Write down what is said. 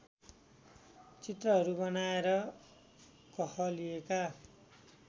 चित्रहरू बनाएर कहलिएका